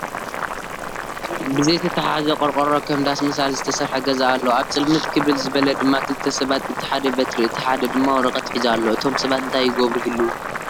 ብዘይተታሓሓዘ ቆርቆሮ ከም ዳስ መሳሊ ዝተሰርሐ ገዛ ኣሎ፡፡ ኣብ ፅልምት ክብል ዝበለ ድማ ክልተ ሰባት እቲ ሓደ በትሪ፣ እቲ ሓደ ድማ ወረቐት ሒዙ ኣሎ፡፡ እቶም ሰባት እንታይ ይገብሩ ይህልው?